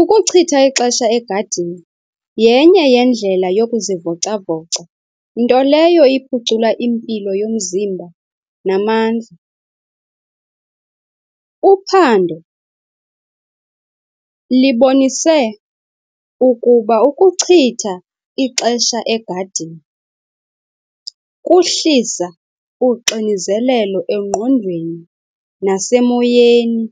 Ukuchitha ixesha egadini yenye yendlela yokuzivoca-voca, nto leyo iphucula impilo yomzimba namandla. Uphando libonise ukuba ukucitha ixesha egadini kuhlisa uxinizelelo engqondweni nasemoyeni.